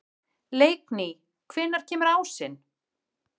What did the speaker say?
Leikný, hvenær kemur ásinn?